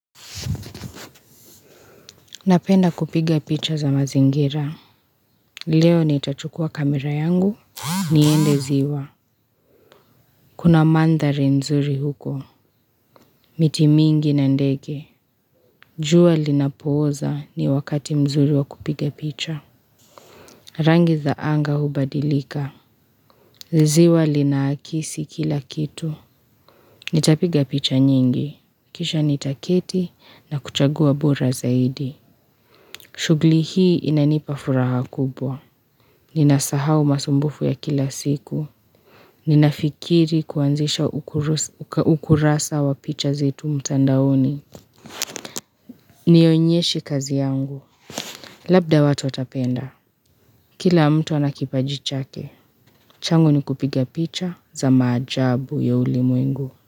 Napenda kupiga picha za mazingira. Leo nitachukua kamera yangu. Niende ziwa. Kuna mandhari nzuri huko. Miti mingi na ndege. Jua linapooza ni wakati mzuri wa kupiga picha. Rangi za anga hubadilika. Ziwa linaakisi kila kitu. Nitapiga picha nyingi. Kisha nitaketi na kuchagua bora zaidi. Shughli hii inanipa furaha kubwa. Ninasahau masumbufu ya kila siku. Ninafikiri kuanzisha ukurasa wa picha zetu mtandaoni. Nionyeshe kazi yangu. Labda watu watapenda. Kila mtu ana kipaji chake. Changu ni kupiga picha za maajabu ya ulimwengu.